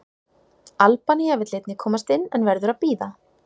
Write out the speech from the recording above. Albanía vill einnig komast inn, en verður að bíða.